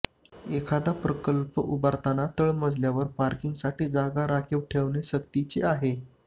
एखादा प्रकल्प उभारताना तळमजल्यावर पार्किंगसाठी जागा राखीव ठेवणे सक्तीचे आहे